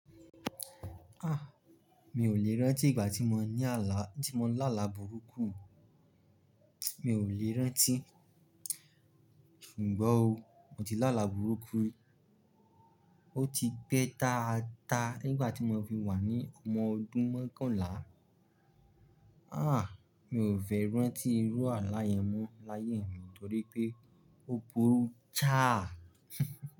Ah! Mi ò lè rántí ìgbà tí mo ní àlá, tí mo lá laburú kú, mi ò lè rántí. Ṣùgbọ́n o, mo ti lá laburú kú rí. Ó ti pẹ́ taata nígbà tí mo fi wà ní ọmọ ọdún mokànlá. Ah! Mi ò fẹ́ rántí irú àlà yén mọ́ láyé mi nítorí pé ó burú jáà.